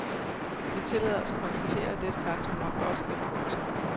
Vi tillader os at konstatere, at dette faktum nok også gælder voksne.